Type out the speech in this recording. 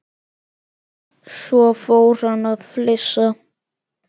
Svo fór hann að flissa.